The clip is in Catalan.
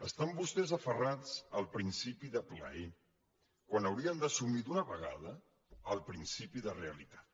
estan vostès aferrats al principi de plaer quan haurien d’assumir d’una vegada el principi de realitat